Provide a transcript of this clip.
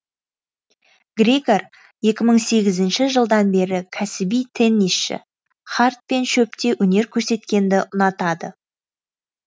григор екі мың сегізінші жылдан бері кәсіби теннисшы хард пен шөпте өнер көрсеткенді ұнатады